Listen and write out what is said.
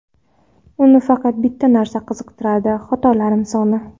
Uni faqat bitta narsa qiziqtirardi – xatolarim soni.